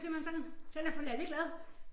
Den er simpelthen sådan den er for lalleglad